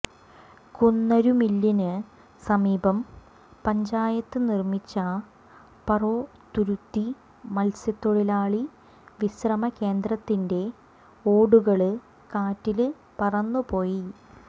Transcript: കുന്നരുമില്ലിന് സമീപം പഞ്ചായത്ത് നിർമിച്ച പറോത്തുരുത്തി മത്സ്യത്തൊഴിലാളി വിശ്രമകേന്ദ്രത്തിൻെറ ഓടുകള് കാറ്റില് പറന്നുപോയി